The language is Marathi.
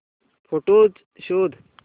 फोटोझ शोध